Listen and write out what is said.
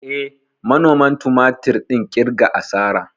Eh, manoman tumatir ɗin ƙirga asara.